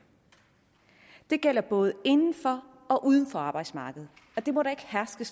det gælder både inden for og uden for arbejdsmarkedet det må der ikke herske